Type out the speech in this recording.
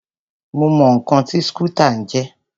Mo mọ ǹkan tí skútà ń jẹ́.